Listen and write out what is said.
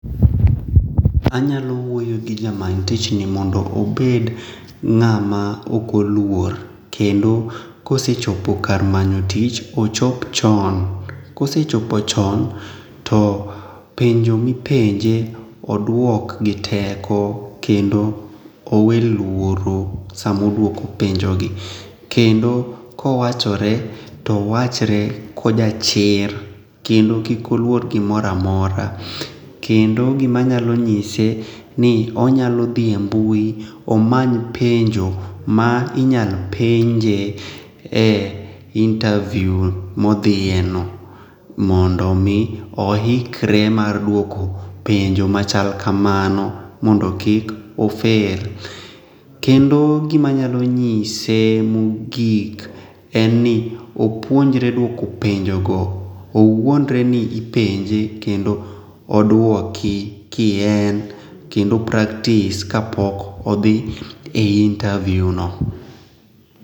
Anyalo wuoyo gi ja many tich mondo obed ng'ama ok oluor kendo kose chopo kar manyo tich ochop chon. Kose chopo chon to penjo mipenje oduok gi teko kendo owe luoro sama oduoko penjogi. Kendo kowachore to owachre ko jachir kendo kik oluor gimoro amora. Kendo gima anyalo nyise ni onyalo dhie embui omany penjo ma inyal penje e interview modhie no mondo mi oikre mar duoko penjo machal kamano mondo kik ofel. Kendo gima anyalo nyise mogik en ni opuonjre duoko penjogo owuondre ni ipenje kendo oduoki kien kendo opractice kapok odhi e interviewno.